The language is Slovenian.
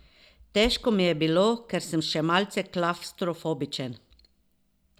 Težko mi je bilo, ker sem še malce klavstrofobičen.